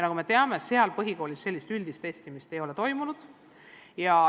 Nagu me teame, pole nendes ainetes põhikoolis üldist testimist toimunud.